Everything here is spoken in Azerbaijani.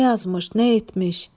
Nə yazmış, nə etmiş?